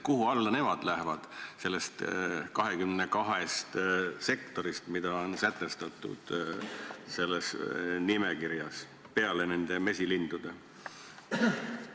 Kuhu alla nemad lähevad nende 22 sektori hulgas, mis on sätestatud selles nimekirjas, peale nende mesilindude?